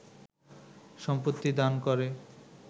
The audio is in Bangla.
সম্পত্তি দান করে